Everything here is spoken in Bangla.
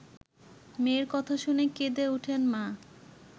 মেয়ের কথা শুনে কেঁদে ওঠেন মা।